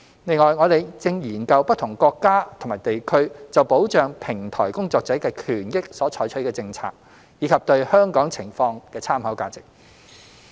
另外，我們正研究不同國家及地區就保障平台工作者的權益所採取的政策，以及對香港情況的參考價值。